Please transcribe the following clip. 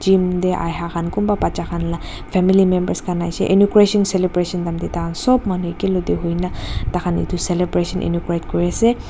gym ahaekhan kunpa bacha khan la family members khan aishey inaugration celebration time tae tai khan sop manu ekiloko tae huina taikhan edu celebration inaugurate kuriase.